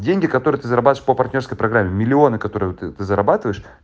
деньги которые ты зарабатываешь по партнёрской программе миллионы которые ты зарабатываешь